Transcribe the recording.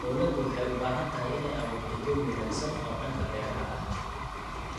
Dawladdu waxay u baahan tahay inay abuurto jawi wanaagsan oo dhanka beeraha ah.